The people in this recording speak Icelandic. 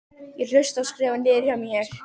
Ég hlusta og skrifa niður hjá mér.